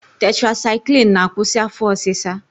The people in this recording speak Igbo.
Tetrasaịklin na-akwụsị afọ ọsịsa.